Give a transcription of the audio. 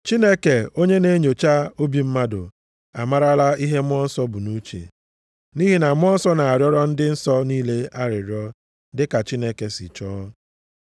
Chineke, onye na-enyocha obi mmadụ, amarala ihe Mmụọ Nsọ bụ nʼuche. Nʼihi na Mmụọ Nsọ na-arịọrọ ndị nsọ niile arịrịọ dịka Chineke si chọọ.